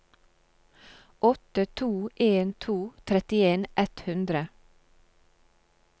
åtte to en to trettien ett hundre